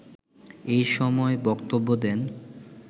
এসময় বক্তব্য দেন